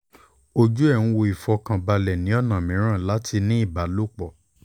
ojú ẹ̀ ń wò ó ìfọ̀kànbalẹ̀ ni ọ̀nà mìíràn láti ní ìbálòpọ̀